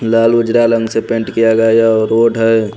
लाल गुजराल रंग से पेंट किया गया और रोड है।